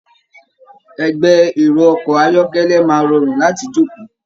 Ẹgbẹ́ ẹrọ ọkọ ayọkẹlẹ máa rọrun láti joko.